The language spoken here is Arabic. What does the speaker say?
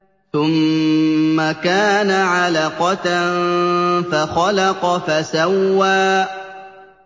ثُمَّ كَانَ عَلَقَةً فَخَلَقَ فَسَوَّىٰ